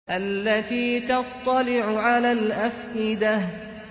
الَّتِي تَطَّلِعُ عَلَى الْأَفْئِدَةِ